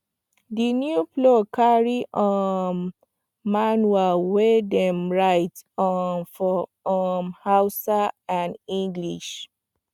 the new plow carry um manual wey dem write um for um hausa and english